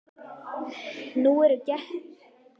Nú eru Grettir og Glámur í erfiðum fæðingarhríðum í Flórens.